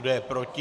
Kdo je proti?